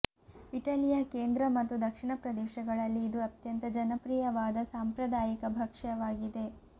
ಇಟಲಿಯ ಕೇಂದ್ರ ಮತ್ತು ದಕ್ಷಿಣ ಪ್ರದೇಶಗಳಲ್ಲಿ ಇದು ಅತ್ಯಂತ ಜನಪ್ರಿಯವಾದ ಸಾಂಪ್ರದಾಯಿಕ ಭಕ್ಷ್ಯವಾಗಿದೆ